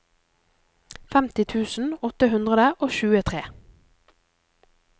femti tusen åtte hundre og tjuetre